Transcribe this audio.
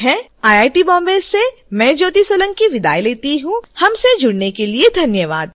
यह स्क्रिप्ट विकास द्वारा अनुवादित है आई आई टी बॉम्बे से मैं ज्योति सोलंकी आपसे विदा लेती हूँ हमसे जुड़ने के लिए धन्यवाद